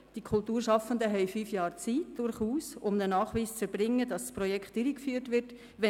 Die Kulturschaffenden haben fünf Jahre Zeit, um den Nachweis zu erbringen, dass das Projekt durchgeführt wurde.